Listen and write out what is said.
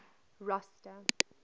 rosta